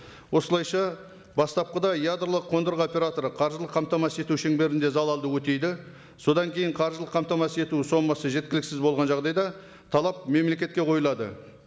осылайша бастапқыда ядролық қондырғы операторы қаржылық қамтамасыз ету шеңберінде залалды өтейді содан кейін қаржылық қамтамасыз ету сомасы жеткілксіз болған жағдайда талап мемлекетке қойылады